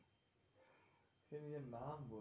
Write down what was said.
সে নাম বলেনি,